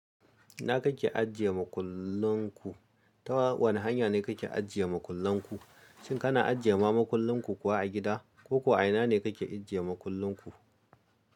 Ina kake ajiye makullan ku? Ta wane hanya ne kake ajiye makullan ku? Shin kana ajiye ma makullin ku kuwa a gida? Ko kuwa a ina ne kake ajiye makullan ku?